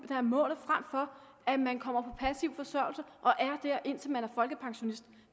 der er målet frem for at man kommer på passiv forsørgelse og er der indtil man bliver folkepensionist